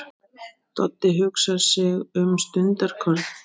Doddi hugsar sig um stundarkorn.